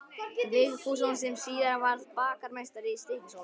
Vigfússon sem síðar varð bakarameistari í Stykkishólmi.